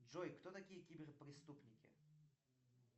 джой кто такие кибер преступники